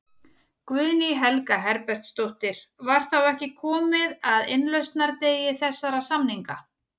Guðný Helga Herbertsdóttir: Var þá ekki komið að innlausnardegi þessara samninga?